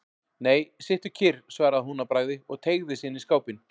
Nei, sittu kyrr, svaraði hún að bragði og teygði sig inn í skápinn.